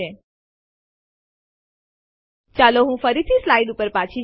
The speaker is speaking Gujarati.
હવે ચાલો પાછા સ્લાઇડ્સ પર જઈએ